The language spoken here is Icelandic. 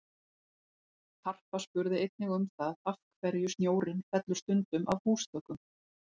Harpa spurði einnig um það af hverju snjórinn fellur stundum af húsþökum?